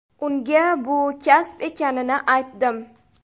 Unga bu kasb ekanini aytdim.